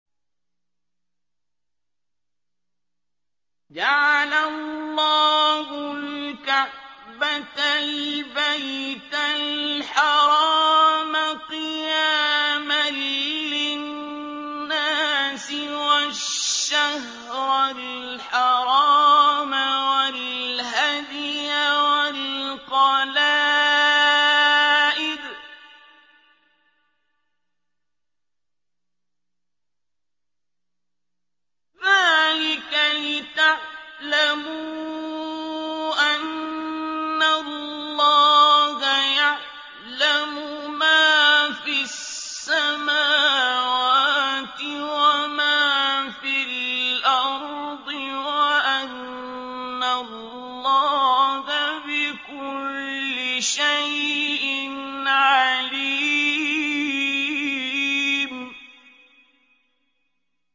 ۞ جَعَلَ اللَّهُ الْكَعْبَةَ الْبَيْتَ الْحَرَامَ قِيَامًا لِّلنَّاسِ وَالشَّهْرَ الْحَرَامَ وَالْهَدْيَ وَالْقَلَائِدَ ۚ ذَٰلِكَ لِتَعْلَمُوا أَنَّ اللَّهَ يَعْلَمُ مَا فِي السَّمَاوَاتِ وَمَا فِي الْأَرْضِ وَأَنَّ اللَّهَ بِكُلِّ شَيْءٍ عَلِيمٌ